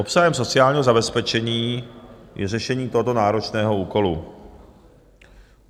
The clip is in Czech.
Obsahem sociálního zabezpečení je řešení tohoto náročného úkolu.